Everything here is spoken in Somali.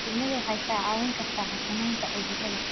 Shinnidu waxay kaa caawin kartaa xakamaynta cudurrada.